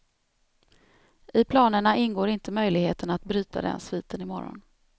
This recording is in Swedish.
I planerna ingår inte möjligheten att bryta den sviten i morgon.